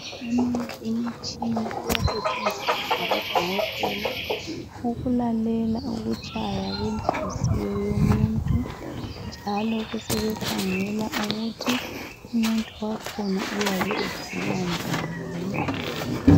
Eminye imitshina iyasetshenziswa ngabodokotela ukulalela ukutshaya kwenhliziyo yomuntu njalo besebekhangela ukuthi umuntu wakhona uyabe egula njani.